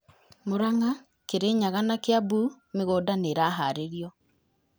Mũranga, Kirinyaga, na Kĩambu mĩgũnda nĩ ĩraharĩrio